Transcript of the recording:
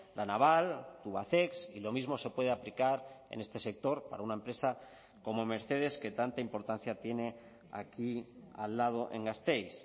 la naval tubacex y lo mismo se puede aplicar en este sector para una empresa como mercedes que tanta importancia tiene aquí al lado en gasteiz